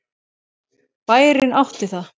Bærinn átti það.